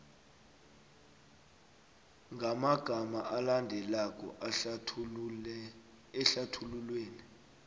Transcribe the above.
ngamagama alandelako ehlathululweni